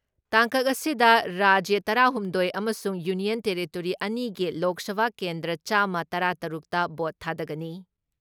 ꯇꯥꯡꯀꯛ ꯑꯁꯤꯗ ꯔꯥꯖ꯭ꯌ ꯇꯔꯥ ꯍꯨꯝꯗꯣꯏ ꯑꯃꯁꯨꯡ ꯌꯨꯅꯤꯌꯟ ꯇꯦꯔꯤꯇꯣꯔꯤ ꯑꯅꯤ ꯒꯤ ꯂꯣꯛ ꯁꯚꯥ ꯀꯦꯟꯗ꯭ꯔꯥ ꯆꯥꯃ ꯇꯔꯥ ꯇꯔꯨꯛꯇ ꯚꯣꯠ ꯊꯥꯗꯅꯒꯅꯤ ꯫